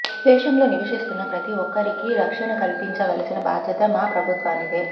దేశంలో నివసిస్తున్న ప్రతీ ఒక్కరికీ రక్షణ కల్పించవలసిన బాధ్యత మా ప్రభుత్వానిదే